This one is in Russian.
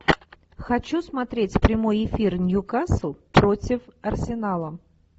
хочу смотреть прямой эфир ньюкасл против арсенала